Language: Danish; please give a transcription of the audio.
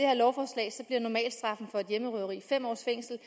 her normalstraffen for et hjemmerøveri fem års fængsel